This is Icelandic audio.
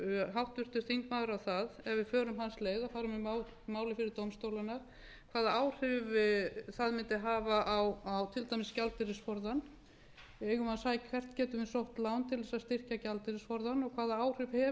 háttvirtur þingmaður að það ef við förum hans leið að fara með málið fyrir dómstólana hvaða áhrif það mundi hafa á til dæmis gjaldeyrisforðann hvert getum við sótt lán til þess að styrkja gjaldeyrisforðann og hvaða áhrif hefur það ef við